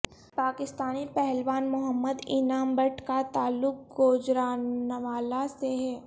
پاکستانی پہلوان محمد انعام بٹ کا تعلق گوجرانوالہ سے ہے